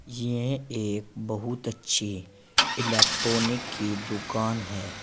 यह एक बहुत अच्छी इलेक्ट्रॉनिक की दुकान है।